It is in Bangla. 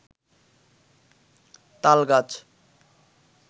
তালগাছ